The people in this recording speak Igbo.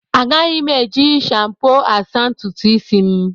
Agaghị m eji shampo asa ntutu isi m.